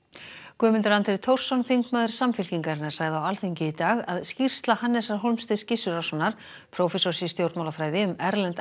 Guðmundur Andri Thorsson þingmaður Samfylkingarinnar sagði á Alþingi í dag að skýrsla Hannesar Hólmsteins Gissurarsonar prófessors í stjórnmálafræði um erlend